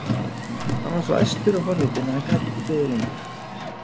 Hann var svo æstur og forvitinn að hann gat ekki beðið lengur.